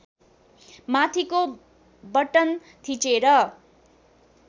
माथिको बटन थिचेर